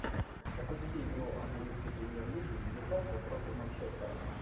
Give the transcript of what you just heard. запусти игру английской премьер лиги ньюкасл против манчестера